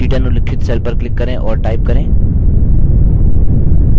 c10 उल्लिखित cell पर click करें और type करें